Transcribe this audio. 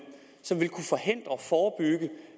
som